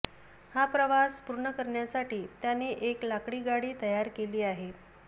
हा प्रवास पूर्ण करण्यासाठी त्याने एक लाकडी गाडी तयार केली आहे